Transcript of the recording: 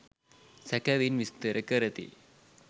සැකෙවින් විස්තර කරති